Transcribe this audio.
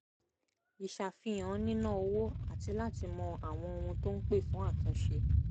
ìṣàfihàn níná owó àti láti mọ àwọn ohun tó ń pè fún àtúnṣe